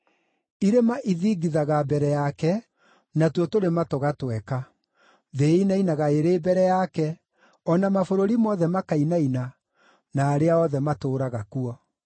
Irĩma ithingithaga mbere yake, natuo tũrĩma tũgatweka. Thĩ ĩinainaga ĩrĩ mbere yake, o na mabũrũri mothe makainaina, na arĩa othe matũũraga kuo.